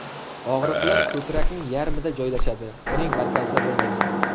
Og‘riqlar ko‘krakning yarmida joylashadi, uning markazida bo‘lmaydi.